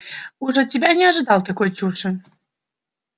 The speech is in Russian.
уж от тебя не ожидал такой чуши